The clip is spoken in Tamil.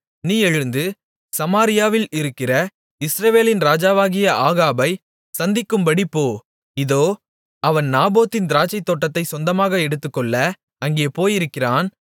நீ எழுந்து சமாரியாவில் இருக்கிற இஸ்ரவேலின் ராஜாவாகிய ஆகாபைச் சந்திக்கும்படி போ இதோ அவன் நாபோத்தின் திராட்சைத்தோட்டத்தைச் சொந்தமாக எடுத்துக்கொள்ள அங்கே போயிருக்கிறான்